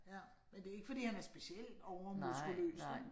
Ja, men det ikke fordi han er specielt overmuskuløs, vel